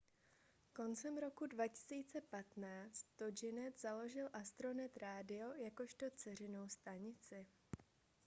koncem roku 2015 toginet založil astronet radio jakožto dceřinou stanici